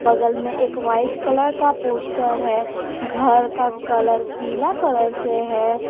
बगल में एक वाइट कलर का पोस्टर है घर का कलर पीला कलर से है।